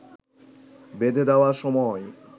বেঁধে দেওয়া সময়